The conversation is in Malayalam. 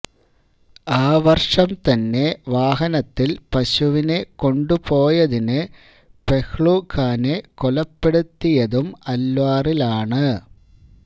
ആ വര്ഷം തന്നെ വാഹനത്തില് പശുവിനെ കൊണ്ടുപോയതിന് പെഹ്ലു ഖാനെ കൊലപ്പെടുത്തിയതും അല്വാറിലാണ്